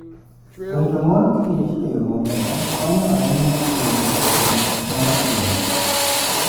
Rito mor kich e yo maber konyo ahinya e rito kit mor kich.